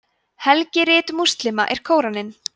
helgirit múslíma er kóraninn